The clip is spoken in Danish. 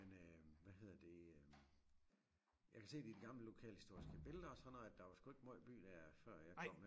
Men øh hvad hedder det øh jeg kan se det i de gamle lokalhistoriske billeder og sådan noget at der var sgu ikke måjt by der før jeg kom